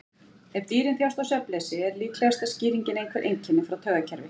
Ef dýrin þjást af svefnleysi er líklegasta skýringin einhver einkenni frá taugakerfi.